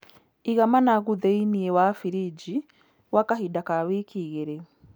Iga managu thĩiniĩ wa birinji gwa kahinda ka wiki igĩrĩ.